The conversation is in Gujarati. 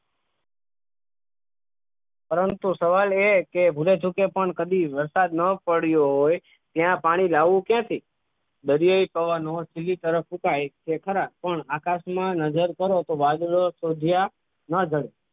પરંતુ સવાલ એ કે ભૂલે ચૂકે કદી વરસાદ ન પડે હોય ત્યાં પાણી લાવવું ક્યાંથી દરજ્જાય પવનો અંદરની તરફ રોકાય તે ખરા પણ આકાશમાં નજર કરો તો વાદળા સુદ્ધા ના જડે